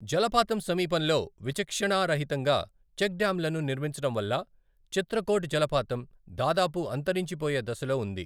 జలపాతం సమీపంలో విచక్షణారహితంగా చెక్ డ్యామ్లను నిర్మించడం వల్ల చిత్రకోట్ జలపాతం దాదాపు అంతరించిపోయే దశలో ఉంది.